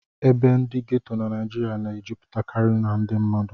Ebe ndị ghetto na Naịjirịa na-ejupụtakarị ndị mmadụ